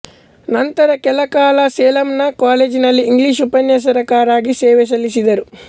ನಂತರ ಕೆಲಕಾಲ ಸೇಲಂನ ಕಾಲೇಜಿನಲ್ಲಿ ಇಂಗ್ಲೀಷ್ ಉಪನ್ಯಾಸಕರಾಗಿ ಸೇವೆ ಸಲ್ಲಿಸಿದರು